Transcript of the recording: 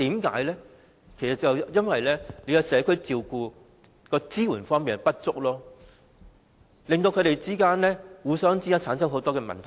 其實是因為對社區照顧的支援不足，照顧者與被照顧者之間有很多問題。